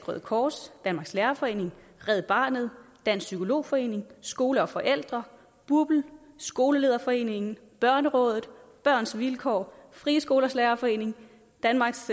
røde kors danmarks lærerforening red barnet dansk psykolog forening skole og forældre bupl skolelederforeningen børnerådet børns vilkår frie skolers lærerforening danmarks